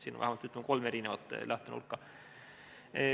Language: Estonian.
Siin on vähemalt kolm lähtenurka.